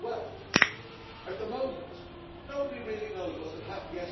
Well, at the moment, nobody really knows what's going to happen.